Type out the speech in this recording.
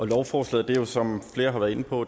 lovforslaget er jo som flere har været inde på